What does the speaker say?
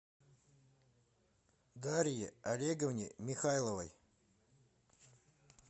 дарье олеговне михайловой